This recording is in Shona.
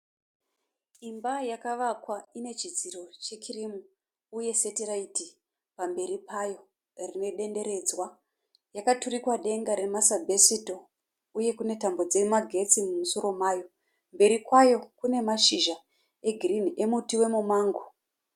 Imba yakavakwa ine chidziro chekirimu uye setiraiti pamberi payo rine denderedzwa yakaturikwa denga remasibhesito uye kune tambo dzemagetsi pamusoro payo uye pane tambo mberi kwayo kune mashizha egirirni emuti wemumango.